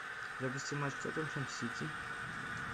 запусти матч тоттенхэм сити